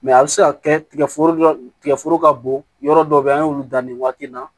a bɛ se ka kɛ tigɛgɛ tigɛforo ka bon yɔrɔ dɔw be yen an y'olu dan nin waati in na